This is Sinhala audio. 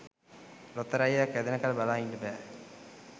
ලොතරැය්යක් ඇදෙනකල් බලා ඉන්ට බෑ.